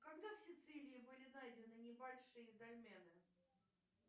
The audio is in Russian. когда в сицилии были найдены небольшие дольмены